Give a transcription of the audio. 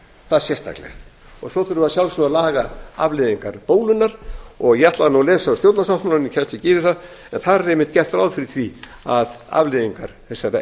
það sérstaklega svo þurfum við að sjálfsögðu að laga afleiðingar bólunnar ég ætlaði að lesa stjórnarsáttmálann en ég kemst ekki yfir það en þar er einmitt gert ráð fyrir því að afleiðingar þessarar